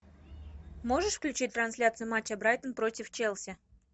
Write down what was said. можешь включить трансляцию матча брайтон против челси